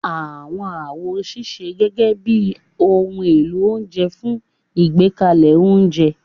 Àwọn àwo ń ṣiṣẹ́ gẹ́gẹ́ bí ohun èlò oúnjẹ fún ìgbékalẹ̀ oúnjẹ